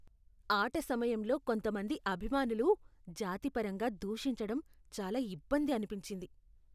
ఆట సమయంలో కొంతమంది అభిమానులు జాతిపరంగా దూషించటం చాలా ఇబ్బంది అనిపించింది.